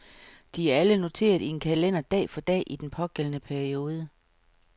De er alle noteret i en kalender dag for dag i den pågældende periode.